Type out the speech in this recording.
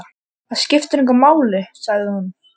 Það skiptir engu máli, sagði hún.